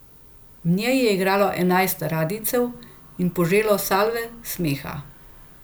V njej je igralo enajst radijcev in poželo salve smeha.